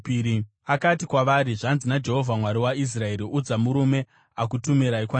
Akati kwavari, “Zvanzi naJehovha Mwari waIsraeri: Udza murume akutumirai kwandiri kuti,